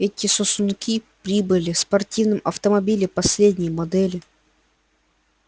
эти сосунки прибыли в спортивном автомобиле последней модели